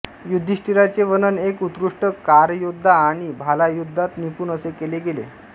युधिष्ठिराचे वर्णन एक उत्कृष्ट कारयोद्धा आणि भालायुद्धात निपुण असे केले गेले